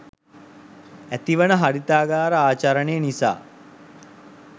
ඇතිවන හරිතාගාර ආචරණය නිසා